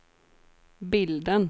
bilden